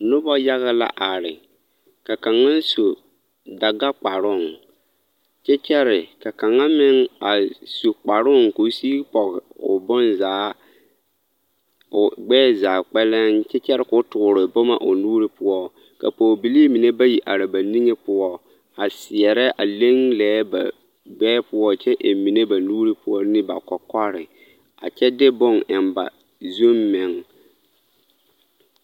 Noba yaga la are ka kaŋa su Dagakparooŋ kyɛ kyɛre ka kaŋa meŋ a su kparoŋ k'o sigi pɔge o bonzaa o gbɛɛ zaa kpɛlɛm kyɛ kyɛre k'o toore boma o nuuri poɔ ka pɔgebilii mine bayi are ba niŋe poɔ a a seɛrɛ a leŋ lɛɛ ba gbɛɛ poɔ kyɛ eŋ mine ba nuuri poɔ ne ba kɔkɔre a kyɛ de bone eŋ ba zuŋ meŋ.